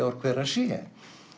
ár hver hann sé